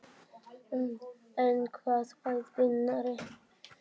En hvað fannst Gunnari?